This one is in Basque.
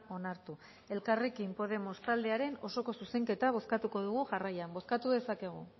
onartu elkarrekin podemos taldearen osoko zuzenketa bozkatuko dugu jarraian bozkatu dezakegu